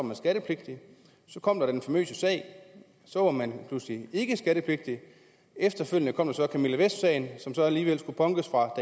man skattepligtig så kom den famøse sag og så var man pludselig ikke skattepligtig efterfølgende kom så camilla vest som så alligevel skulle punkes fra